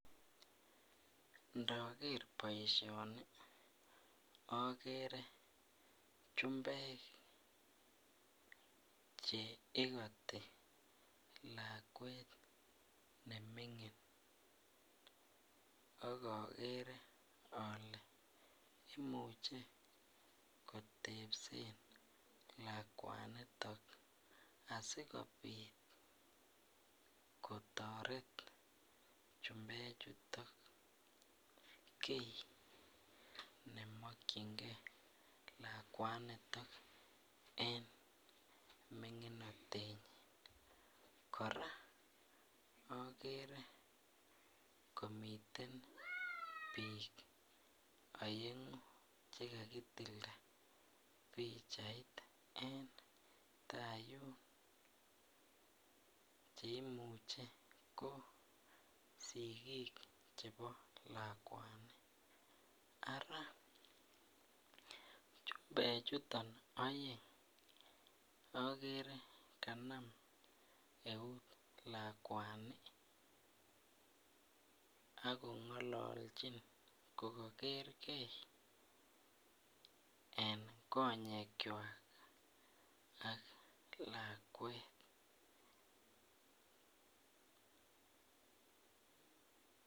Ndoger boisioni akere chumbek cheikoti lakwet nemingin akoker ale imuche kotepsen lakwanitok asikobit kotoret kii nemongyingee lakwanitok en ming'inatenyin ,kora akere komiten biik aeng'u chekakitilta pichait en taa yun cheimuche ko sikik chebo lakwani, ara chumbe chuton aeng akere kanam eut lakwani akong'ololchin ko koker gee en konyekchwak ak lakwet.